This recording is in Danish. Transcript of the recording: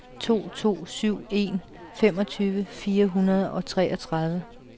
to to syv en femogtyve fire hundrede og treogtredive